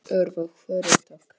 Öðru hvoru tók